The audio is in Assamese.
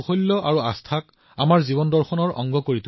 আমাৰ বেদবোৰে বহুতো সৃষ্টি ভগৱান বিশ্বকৰ্মাক উৎসৰ্গা কৰিছে